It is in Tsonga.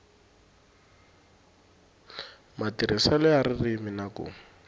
matirhiselo ya ririmi na ku